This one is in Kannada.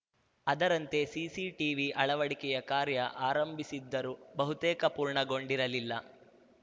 ಅದರಂತೆ ಸಿಸಿ ಟಿವಿ ಅಳವಡಿಕೆಯ ಕಾರ್ಯ ಆರಂಭಿಸಿದ್ದರೂ ಬಹುತೇಕ ಪೂರ್ಣಗೊಂಡಿರಲಿಲ್ಲ